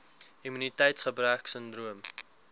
immuniteits gebrek sindroom